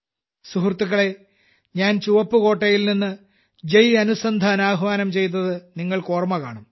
സുഹൃത്തുക്കളെ ഞാൻ ചുവപ്പുകോട്ടയിൽനിന്ന് ജയ് അനുസന്ധാൻ ആഹ്വാനം ചെയ്തത് നിങ്ങൾക്ക് ഓർമ്മ കാണും